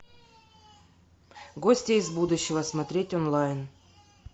гости из будущего смотреть онлайн